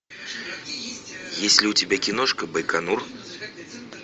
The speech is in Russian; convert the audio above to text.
есть ли у тебя киношка байконур